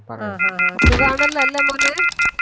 ആഹ് ആഹ് ആഹ് സുഗാണല്ലോ അല്ലെ മോനെ